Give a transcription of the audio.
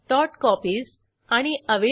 यासंबंधी माहिती पुढील साईटवर उपलब्ध आहे